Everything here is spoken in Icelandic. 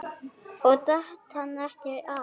Og datt hann ekkert af?